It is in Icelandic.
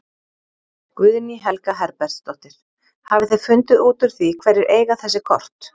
Guðný Helga Herbertsdóttir: Hafið þið fundið út úr því hverjir eiga þessi kort?